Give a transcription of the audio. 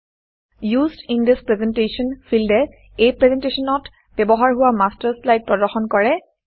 used in this presentation ফিল্ডে এই প্ৰেজেণ্টেশ্যনত ব্যৱহাৰ হোৱা মাষ্টাৰ শ্লাইড প্ৰদৰ্শন কৰে